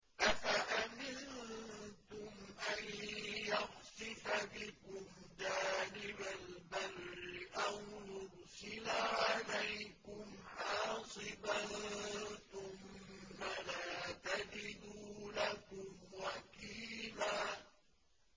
أَفَأَمِنتُمْ أَن يَخْسِفَ بِكُمْ جَانِبَ الْبَرِّ أَوْ يُرْسِلَ عَلَيْكُمْ حَاصِبًا ثُمَّ لَا تَجِدُوا لَكُمْ وَكِيلًا